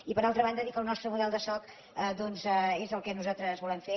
i per altra banda dir que el nostre model de soc doncs és el que nosaltres volem fer